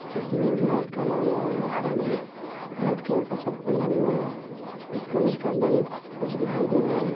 Cycle में झोला लटकता हुआ है| आदमी व्हाइट कलर का शर्ट पहने हुए हैं| इस कॉलेज के अंदर एक वृक्ष दिखाई दे रहा हैं।